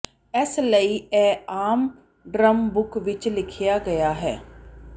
ਇਸ ਲਈ ਇਹ ਆਮ ਡ੍ਰਮ ਬੁੱਕ ਵਿੱਚ ਲਿਖਿਆ ਗਿਆ ਹੈ